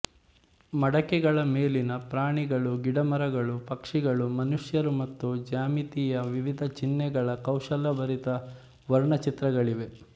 ಮಡಕೆಗಳ ಮೇಲಿನ ಪ್ರಾಣಿಗಳು ಗಿಡಮರಗಳು ಪಕ್ಷಿಗಳು ಮನುಷ್ಯರು ಮತ್ತು ಜ್ಯಾಮಿತಿಯ ವಿವಿಧ ಚಿಹ್ನೆಗಳ ಕೌಶಲಭರಿತ ವರ್ಣಚಿತ್ರಗಳಿವೆ